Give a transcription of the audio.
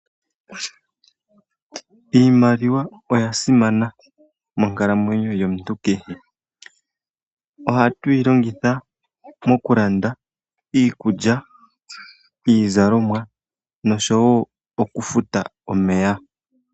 Iimaliwa oya simana monkalamwenyo yomuntu kehe. Ohatu yi longitha okulanda iikulya, iizalomwa noshowo okufuta omeya.